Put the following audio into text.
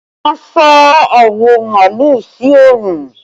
Wọn sá awọ màálù sí oòrùn